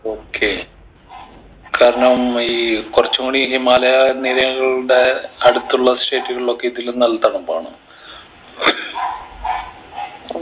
okay കാരണം ഈ കുറച്ചുംകൂടി ഈ ഹിമാലയ നിരകളുടെ അടുത്തുള്ള state കളിലൊക്കെ ഇതിലും നല്ല തണുപ്പാണ്